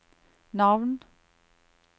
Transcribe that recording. navn